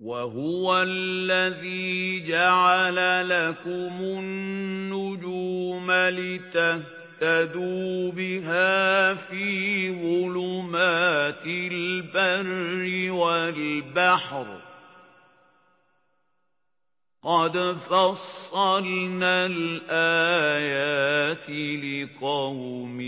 وَهُوَ الَّذِي جَعَلَ لَكُمُ النُّجُومَ لِتَهْتَدُوا بِهَا فِي ظُلُمَاتِ الْبَرِّ وَالْبَحْرِ ۗ قَدْ فَصَّلْنَا الْآيَاتِ لِقَوْمٍ